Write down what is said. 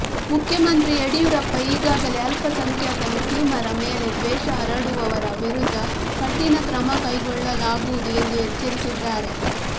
ಮುಖ್ಯಮಂತ್ರಿ ಯಡಿಯೂರಪ್ಪ ಈಗಾಗಲೆ ಅಲ್ಪಸಂಖ್ಯಾತ ಮುಸ್ಲಿಮರ ಮೇಲೆ ದ್ವೇಷ ಹರಡುವವರ ವಿರುದ್ದ ಕಠಿಣ ಕ್ರಮ ಕೈಗೊಳ್ಳಲಾಗುವುದು ಎಂದು ಎಚ್ಚರಿಸಿದ್ದಾರೆ